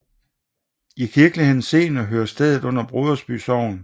I kirkelig henseende hører stedet under Brodersby Sogn